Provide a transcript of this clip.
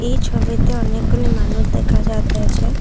এই ছবিতে অনেকগুলি মানুষ দেখা যায়তাছে।